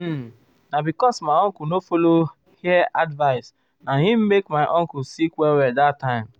uhm na because my uncle no follow hiv advice na im make my uncle sick well well that time.